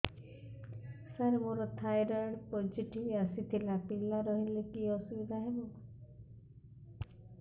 ସାର ମୋର thyroid positive ଆସିଥିଲା ପିଲା ରହିଲେ କି ଅସୁବିଧା ହେବ